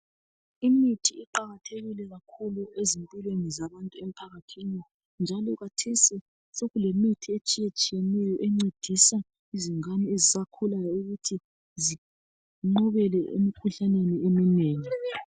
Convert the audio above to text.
Imithi iqakathekile kakhulu ezimpilweni zabantu emphakathini njalo kathesi sokulemithi etshiyetshiyeneyo encedisa izingane ezisakhulayo ukuthi zinqobele emikhuhlaneni eminengi.